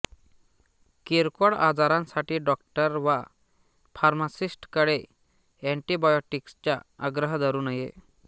किरकोळ आजारांसाठी डॉक्टर वा फार्मासिस्टकडे एंटिबायोटिक्सचा आग्रह धरू नये